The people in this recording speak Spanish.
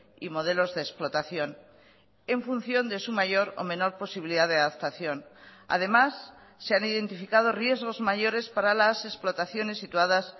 y modelos de explotación en función de su mayor o menor posibilidad de adaptación además se han identificado riesgos mayores para las explotaciones situadas